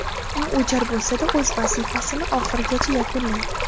U o‘jar bo‘lsa-da, o‘z vazifasini oxirigacha yakunlaydi.